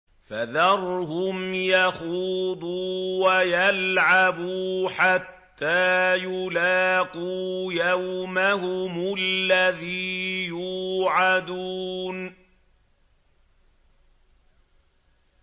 فَذَرْهُمْ يَخُوضُوا وَيَلْعَبُوا حَتَّىٰ يُلَاقُوا يَوْمَهُمُ الَّذِي يُوعَدُونَ